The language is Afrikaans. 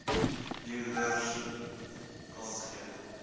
huurder kans gee